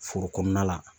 Foro kɔnɔna la